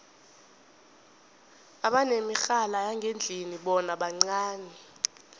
abanemirhala yangendlini bona bancani